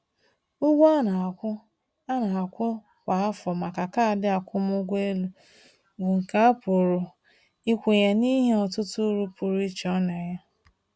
Ụgwọ a na-akwụ a na-akwụ kwa afọ maka kaadị akwụmụgwọ elu bụ nke a pụrụ ikwenye n’ihi ọtụtụ uru pụrụ iche ọ na-enye.